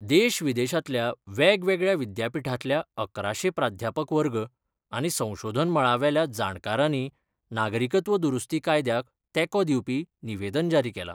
देशविदेशातल्या वेगवेगळ्या विद्यापीठातल्या अकराशे प्राद्यापक वर्ग आनी संशोधन मळावेल्या जाणकारानी नागरिकत्व दुरुस्ती कायद्याक तेको दिवपी निवेदन जारी केला.